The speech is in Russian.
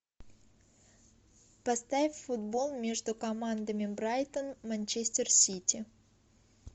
поставь футбол между командами брайтон манчестер сити